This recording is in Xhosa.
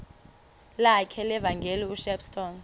lakhe levangeli ushepstone